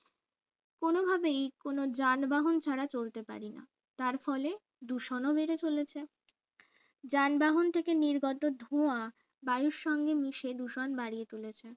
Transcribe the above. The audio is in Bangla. কোনভাবেই কোনো যানবাহন ছাড়া চলতে পারি না তার ফলে দূষণও বেড়ে চলেছে যানবাহন থেকে নির্গত ধোঁয়া বায়ুর সঙ্গে মিশে দূষণ বাড়িয়ে তুলেছে